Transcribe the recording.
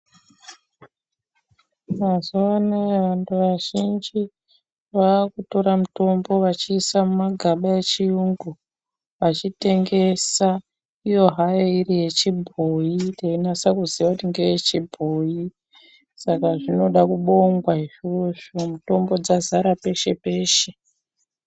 Mazuwa anaya vantu vazhinji vakutora mitombo vachiisa mumagaba echiyungu vachitengesa iyo hayo iri yechibhoyi teinasa kuziya kuti ngeyechibhoyi saka zvinoda kubongwa izvozvo mitombo dzazara peshe peshe.